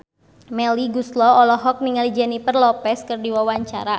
Melly Goeslaw olohok ningali Jennifer Lopez keur diwawancara